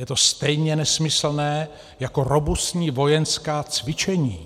Je to stejně nesmyslné jako robustní vojenská cvičení